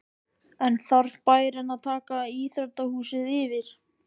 En þarf bærinn að taka íþróttahúsið yfir?